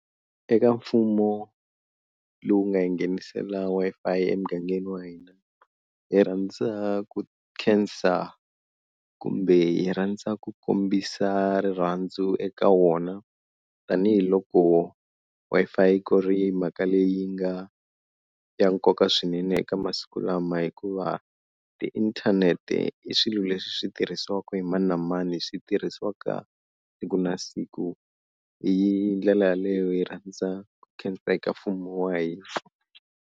Eka mfumo lowu nga hi nghenisela Wi-Fi emugangeni wa hina hi rhandza ku khensa kumbe hi rhandza ku kombisa rirhandzu eka wona, tanihiloko Wi-Fi ku ri mhaka leyi nga ya nkoka swinene eka masiku lama hikuva tiinthanete i swilo leswi swi tirhisiwaka hi mani na mani swi tirhisiwaka siku na siku hi ndlela yaleyo hi rhandza ku khensa eka mfumo wa hina.